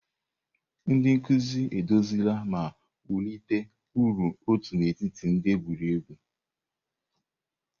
Ndị nkuzi eduzila ma wulite ọrụ otu n'etiti ndị egwuregwu.